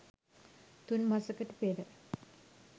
තුන් මසකට පෙර